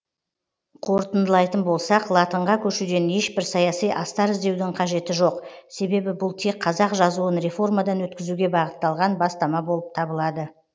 қорытындылайтын болсақ латынға көшуден ешбір саяси астар іздеудің қажеті жоқ себебі бұл тек қазақ жазуын реформадан өткізуге бағытталған бастама болып табылады